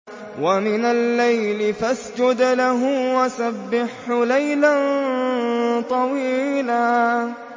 وَمِنَ اللَّيْلِ فَاسْجُدْ لَهُ وَسَبِّحْهُ لَيْلًا طَوِيلًا